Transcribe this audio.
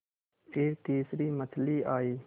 फिर तीसरी मछली आई